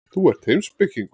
Þú ert heimspekingur.